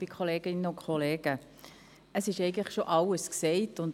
Es ist schon alles gesagt worden.